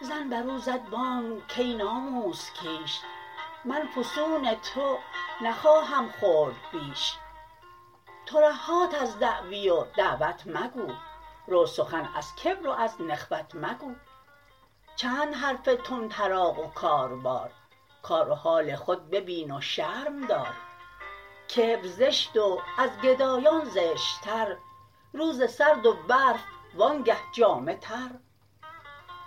زن برو زد بانگ کای ناموس کیش من فسون تو نخواهم خورد بیش ترهات از دعوی و دعوت مگو رو سخن از کبر و از نخوت مگو چند حرف طمطراق و کار بار کار و حال خود ببین و شرم دار کبر زشت و از گدایان زشت تر روز سرد و برف وانگه جامه تر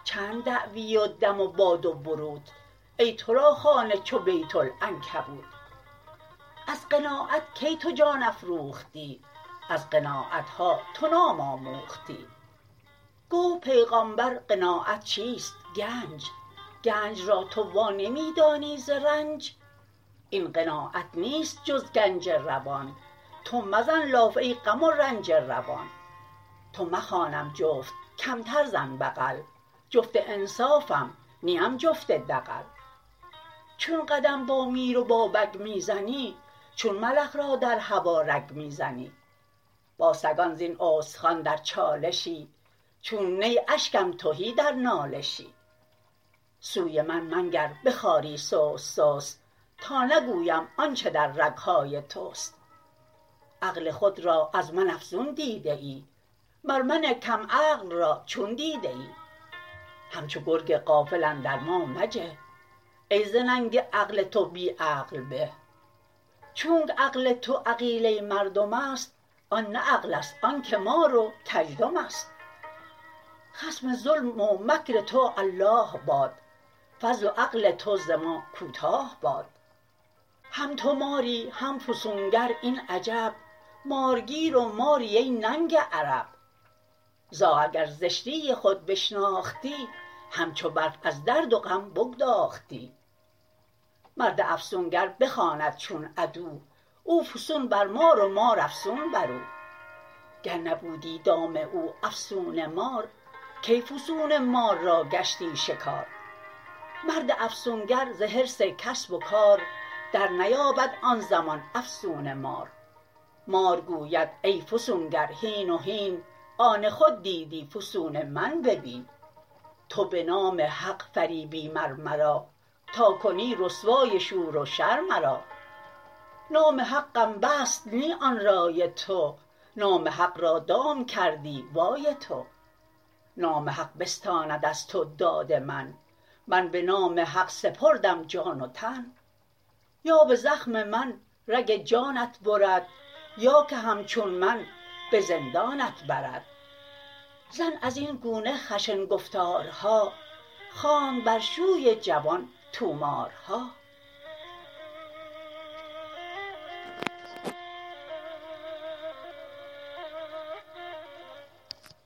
چند دعوی و دم و باد و بروت ای ترا خانه چو بیت العنکبوت از قناعت کی تو جان افروختی از قناعت ها تو نام آموختی گفت پیغامبر قناعت چیست گنج گنج را تو وا نمی دانی ز رنج این قناعت نیست جز گنج روان تو مزن لاف ای غم و رنج روان تو مخوانم جفت کمتر زن بغل جفت انصافم نیم جفت دغل چون قدم با میر و با بگ می زنی چون ملخ را در هوا رگ می زنی با سگان زین استخوان در چالشی چون نی اشکم تهی در نالشی سوی من منگر به خواری سست سست تا نگویم آنچ در رگ های تست عقل خود را از من افزون دیده ای مر من کم عقل را چون دیده ای همچو گرگ غافل اندر ما مجه ای ز ننگ عقل تو بی عقل به چونکه عقل تو عقیله مردم است آن نه عقل ست آن که مار و کزدم است خصم ظلم و مکر تو الله باد فضل و عقل تو ز ما کوتاه باد هم تو ماری هم فسون گر این عجب مارگیر و ماری ای ننگ عرب زاغ اگر زشتی خود بشناختی همچو برف از درد و غم بگداختی مرد افسونگر بخواند چون عدو او فسون بر مار و مار افسون برو گر نبودی دام او افسون مار کی فسون مار را گشتی شکار مرد افسون گر ز حرص کسب و کار در نیابد آن زمان افسون مار مار گوید ای فسون گر هین و هین آن خود دیدی فسون من ببین تو به نام حق فریبی مر مرا تا کنی رسوای شور و شر مرا نام حقم بست نی آن رای تو نام حق را دام کردی وای تو نام حق بستاند از تو داد من من به نام حق سپردم جان و تن یا به زخم من رگ جانت برد یا که همچون من به زندانت برد زن ازین گونه خشن گفتارها خواند بر شوی جوان طومار ها